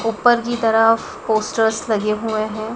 ऊपर की तरफ पोस्टर्स लगे हुए हैं।